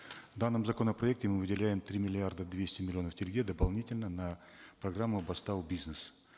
в данном законопроекте мы выделяем три миллиарда двести миллионов тенге дополнительно на программу бастау бизнес